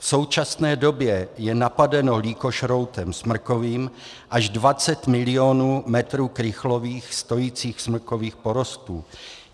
V současné době je napadeno lýkožroutem smrkovým až 20 milionů metrů krychlových stojících smrkových porostů.